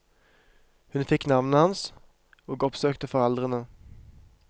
Hun fikk navnet hans, og oppsøkte foreldrene.